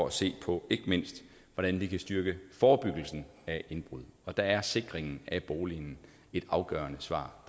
at se på hvordan vi kan styrke forebyggelsen af indbrud og der er sikringen af boligen et afgørende svar